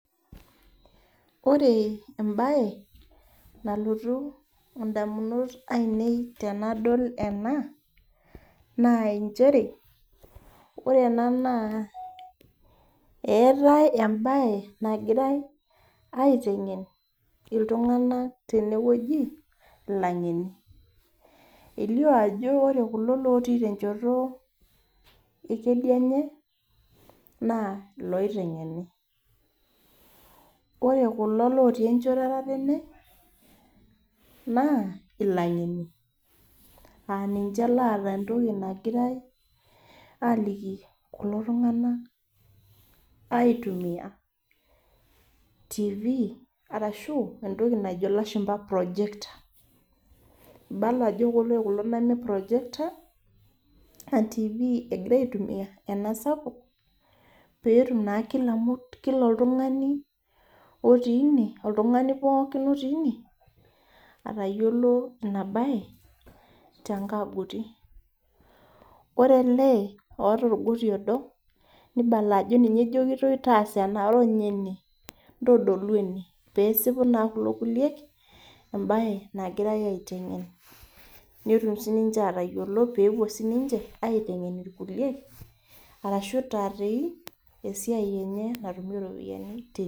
Ore ebae, nalotu indamunot ainei tenadol ena, naa injere, ore ena naa eetae ebae nagirai aiteng'en iltung'anak tenewueji ilang'eni. Elio ajo ore kulo lotii tenchoto ekedienye, naa iloiteng'eni. Ore kulo otii enchoto etatene, naa ilang'eni. Ah ninche lata entoki nagirai aliki kulo tung'anak aitumia Tv arashu entoki najo ilashumpa projector. Ibala ajo kulo loiprojekta, ah Tv egira aitumia, ena sapuk, petum naa kila oltung'ani otii ine, oltung'ani pookin otii ine, atayiolo inabae, tenkagut. Ore ele oota orgoti odo, nibala ajo ninye ejokitoi, taasa ena noranya ene, ntodolu ene pesipu naa kulo kulie, ebae nagirai aiteng'en. Netum sininche atayiolo pepuo sininche, aiteng'en irkulie, arashu itaa toi, esiai enye natumie ropiyiani.